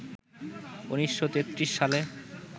১৯৩৩ সালে